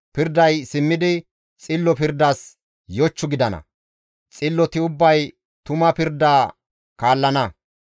Pirday simmidi xillo pirdas yoch gidana; xilloti ubbay tuma pirda kaallana.